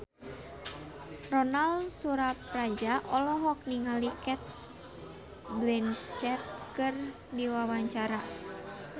Ronal Surapradja olohok ningali Cate Blanchett keur diwawancara